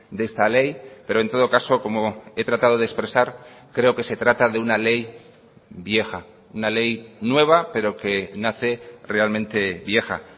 de esta ley pero en todo caso como he tratado de expresar creo que se trata de una ley vieja una ley nueva pero que nace realmente vieja